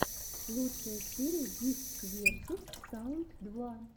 лучшая серия гифтс версус саунд два